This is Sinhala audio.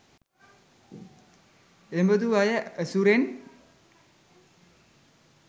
එබදු අය ඇසුරෙන්